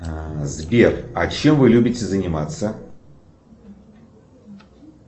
сбер а чем вы любите заниматься